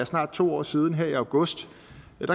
snart to år siden her i august